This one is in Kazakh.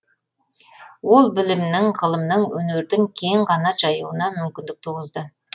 ол білімнің ғылымның өнердің кең қанат жаюына мүмкіндік туғызды